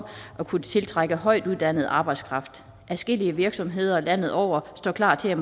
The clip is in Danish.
at kunne tiltrække højtuddannet arbejdskraft adskillige virksomheder landet over står klar til